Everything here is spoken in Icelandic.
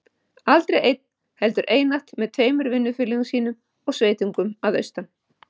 Aldrei einn, heldur einatt með tveimur vinnufélögum sínum og sveitungum að austan.